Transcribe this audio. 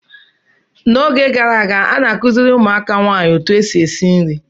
N'oge gara aga, a na-akụziri ụmụaka nwaanyị otu esi esi nri.